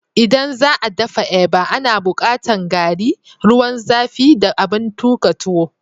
ldan za'a daffa eba, ana bukatan garri, ruwan zafi da abin tukan tuwo